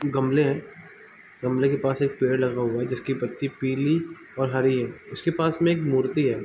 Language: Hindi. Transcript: गमले हैं गमले के पास एक पेड़ लगा हुआ है जिसके पत्ते पीले और हरी है उसके पास में एक मूर्ति है।